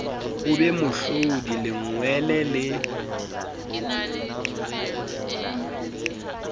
o be mohlodi lengwele le